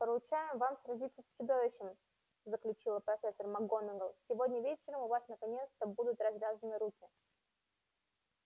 поручаем вам сразиться с чудовищем заключила профессор макгонагалл сегодня вечером у вас наконец-то будут развязаны руки